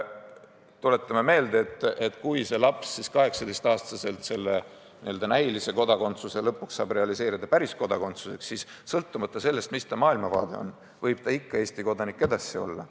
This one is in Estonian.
Tuletame meelde, et kui see laps 18-aastaselt selle n-ö näilise kodakondsuse lõpuks saab realiseerida päris kodakondsuseks, siis sõltumata sellest, mis ta maailmavaade on, võib ta ikka Eesti kodanik edasi olla.